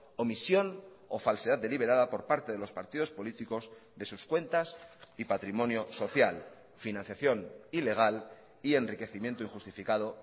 omisión o falsedad deliberada por parte de los partidos políticos de sus cuentas y patrimonio social financiación ilegal y enriquecimiento injustificado